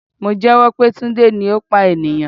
Mo jẹ́wọ́ pé Tunde ni ó pa ènìyàn.